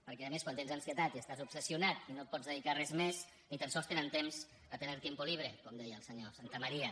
perquè a més quan tens ansietat i estàs obsessionat i no et pots dedicar a res més ni tan sols tenen temps a tener tiempo libre com deia el senyor santamaría